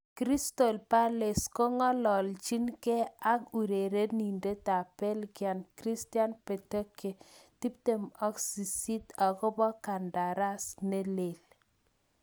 Crystal Palace kongalachin ke ak urerenindet ab Belgium Christian Benteke, 28 akopo kandaras nelel.